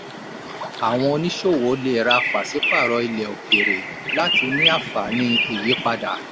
àwọn oníṣòwò lè rà pàṣípàrọ̀ ilẹ̀ òkèèrè láti ní anfaani ìyípadà.